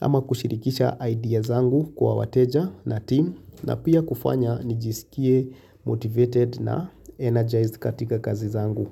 ama kushirikisha ideas zangu kwa wateja na team na pia kufanya nijisikie motivated na energized katika kazi zangu.